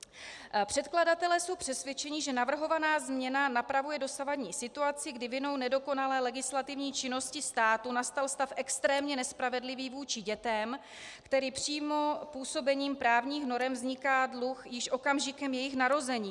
Předkladatelé jsou přesvědčeni, že navrhovaná změna napravuje dosavadní situaci, kdy vinou nedokonalé legislativní činnosti státu nastal stav extrémně nespravedlivý vůči dětem, tedy přímo působením právních norem vzniká dluh již okamžikem jejich narození.